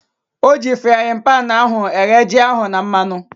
Oji fraaịn panu ahu eghe ji ahu na mmanụ